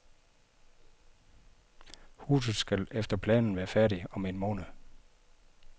Huset skal efter planen være færdigt om en måned.